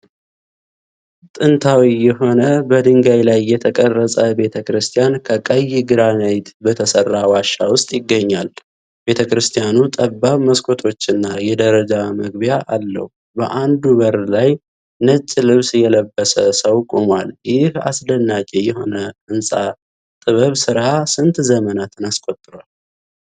ጥንታዊ የሆነ፣ በድንጋይ ላይ የተቀረጸ ቤተክርስቲያን ከቀይ ግራናይት በተሠራ ዋሻ ውስጥ ይገኛል። ቤተክርስቲያኑ ጠባብ መስኮቶችና የደረጃ መግቢያ አለው። በአንዱ በር ላይ ነጭ ልብስ የለበሰ ሰው ቆሟል። ይህ አስደናቂ የስነ ሕንፃ ጥበብ ስራ ስንት ዘመናት አስቆጥሯል?